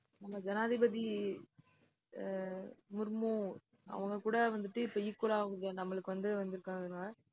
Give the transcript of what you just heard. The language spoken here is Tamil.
நம்ம ஜனாதிபதி அஹ் முர்மு அவங்க கூட வந்துட்டு, இப்ப equal ஆ நம்மளுக்கு வந்து வந்திருக்காங்க.